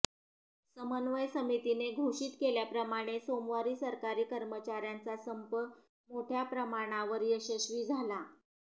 समन्वय समितीने घोषित केल्याप्रमाणे सोमवारी सरकारी कर्मचाऱ्यांचा संप मोठ्या प्रमाणावर यशस्वी झाला